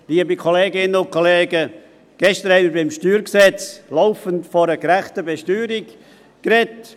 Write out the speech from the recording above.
Liebe Kolleginnen und Kollegen, gestern haben wir beim Steuergesetz (StG) laufend von einer gerechten Besteuerung geredet.